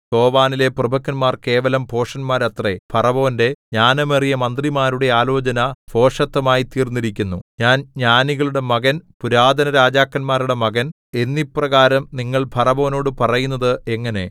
സോവനിലെ പ്രഭുക്കന്മാർ കേവലം ഭോഷന്മാരത്രേ ഫറവോന്റെ ജ്ഞാനമേറിയ മന്ത്രിമാരുടെ ആലോചന ഭോഷത്തമായി തീർന്നിരിക്കുന്നു ഞാൻ ജ്ഞാനികളുടെ മകൻ പുരാതനരാജാക്കന്മാരുടെ മകൻ എന്നിപ്രകാരം നിങ്ങൾ ഫറവോനോട് പറയുന്നത് എങ്ങനെ